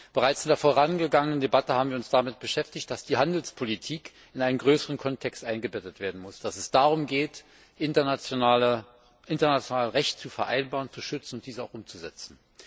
Bereits in der vorangegangenen Debatte haben wir uns damit beschäftigt, dass die Handelspolitik in einen größeren Kontext eingebettet werden muss, dass es darum geht, internationales Recht zu vereinbaren, zu schützen und dieses auch umzusetzen.